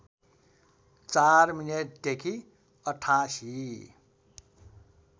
४ minute देखि ८८